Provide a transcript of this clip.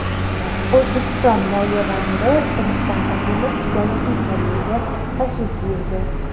O‘zbekiston moliya vaziri Rustam Azimov Janubiy Koreyaga tashrif buyurdi.